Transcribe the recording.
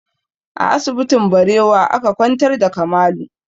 A asibitin Barewa aka kwantar da Kamalu